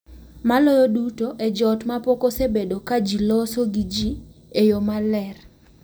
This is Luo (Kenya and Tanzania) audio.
Maloyo duto e joot ma pok osebedo ka ji loso gi ji e yo maler.